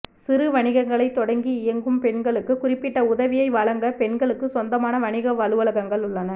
சிறு வணிகங்களைத் தொடங்கி இயங்கும் பெண்களுக்கு குறிப்பிட்ட உதவியை வழங்க பெண்களுக்கு சொந்தமான வணிக அலுவலகங்கள் உள்ளன